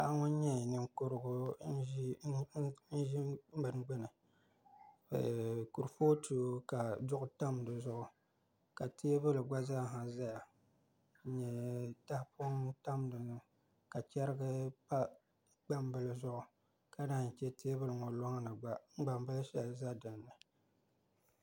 Paɣa ŋun nyɛ ninkurigu n ʒi bini gbuni kurifooti ka duɣu tam di zuɣu ka teeebuli gba zaaha ʒɛya n nyɛ tahapoŋ n tam dinni ŋo ka chɛrigi pa gbambili zuɣu ka naan chɛ teebuli ŋo loŋni gba gbambili shɛli ʒɛ dinni